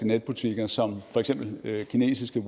netbutikker som for eksempel kinesiske